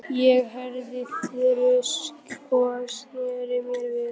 Ég heyrði þrusk og sneri mér við.